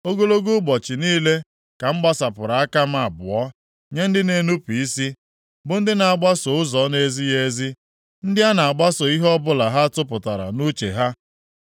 Ogologo ụbọchị niile ka m gbasapụrụ aka m abụọ nye ndị na-enupu isi, bụ ndị na-agbaso ụzọ na-ezighị ezi ndị a na-agbaso ihe ọbụla ha tụpụtara nʼuche ha,